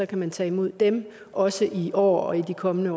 kan man tage imod dem også i år og i de kommende